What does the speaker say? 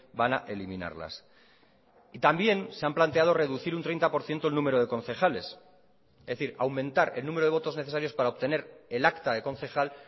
van a eliminarlas y también se han planteado reducir un treinta por ciento el número de concejales es decir aumentar el número de votos necesarios para obtener el acta de concejal